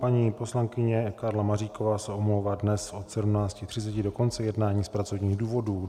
Paní poslankyně Karla Maříková se omlouvá dnes od 17.30 do konce jednání z pracovních důvodů.